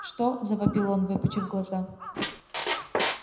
что завопил он выпучив глаза